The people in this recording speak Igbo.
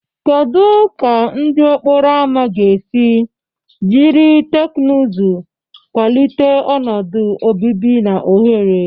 Kedu ka ndụ okporo ámá ga-esi jiri teknụzụ kwalite ọnọdụ obibi na ohere?